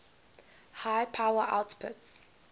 high power outputs